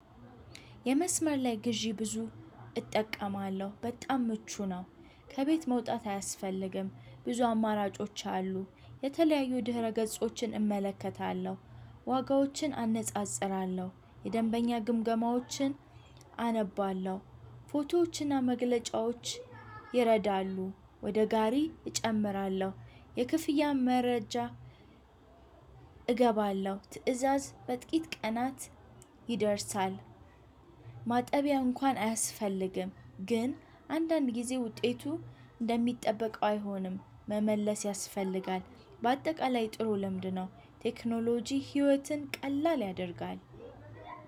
የ መስመር ላይ ግዥ ግዙ እጠቀማለሁ በጣም ምቹ ነው። ከቤት መውጣት አያስፈልግም ብዙ አማራጮች አሉ የተለያዩ ድሕረ ገጾች እመለከታለው። ዋጋዎችን አነፃፅራለው የደንበኛ ግምገማዎችን አነባለሁ። ፎቶዎችና መግለጫዎች ይረዳሉ። ወደ ጋሪ እጨምራለሁ የክፍያ መረጃ። እገባለሁ ትእዛዝ በጥቂት ቀናት ይደርሳል። ማጠቢያ እንኳን አያስፈልግም ግን አንዳንድ ጊዜ ውጤቱ እንደሚጠበቀው አይሆንም። መመለስ ያስፈልጋል በአጠቃላይ ጥሩ ልምድ ነው። ቴክኖሎጂ ህይወትን ቀላል ያደርጋል።